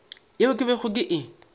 yeo ke bego ke e